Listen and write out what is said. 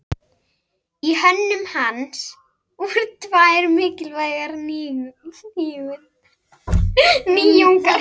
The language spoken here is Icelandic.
Í hönnun hans voru tvær mikilvægar nýjungar.